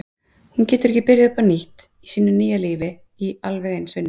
Hún getur ekki byrjað upp á nýtt í sínu nýja lífi í alveg eins vinnu.